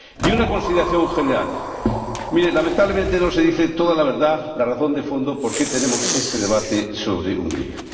Y una consideración general lamentablemente no se dice toda la verdad, la razón de fondo, de por qué tenemos este debate sobre Hungría.